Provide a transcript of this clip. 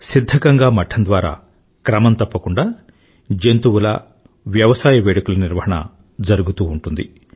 సిధ్ధగంగా మఠం ద్వారా క్రమం తప్పకుండా జంతువుల వ్యవసాయ వేడుకల నిర్వాహణ జరుగుతూ ఉంటుంది